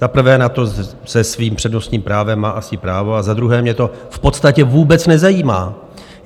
Za prvé na to se svým přednostním právem má asi právo a za druhé mě to v podstatě vůbec nezajímá.